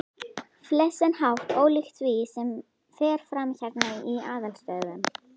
flestan hátt ólíkt því, sem fer fram hérna í aðalstöðvunum.